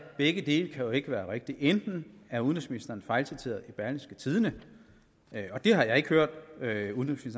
begge dele kan jo ikke være rigtige enten er udenrigsministeren fejlciteret i berlingske tidende og det har jeg ikke hørt